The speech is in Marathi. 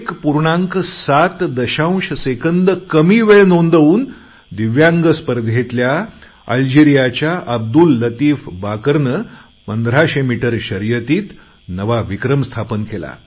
7 सेकंद कमी वेळ नोंदवून दिव्यांग स्पर्धेतल्या अल्जिरियाच्या अब्दुल लतीफ बाकरने 1500 मीटर शर्यतीत नवा विक्रम स्थापन केला